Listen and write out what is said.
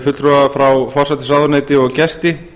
fulltrúa frá forsætisráðuneyti og gesti